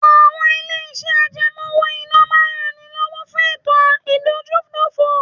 Àwọn ilé-iṣẹ́ àjẹmọ́ owó-ìná máa ń ran ni lọ́wọ́ fún ètò ìdójútòfò